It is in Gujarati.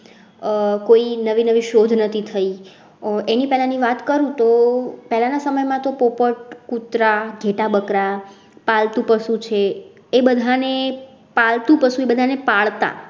આહ કોઈ નવી નવી શોધ નથી થઈ. એની પેલા ની વાત કરું તો પેલા ના સમય માં તો પોપટ, કુતરા, ઘેટાં, બકરાં, પાલતુ પશુ છે. એ બધાને પાલતુ પશુ બધાને પાડતા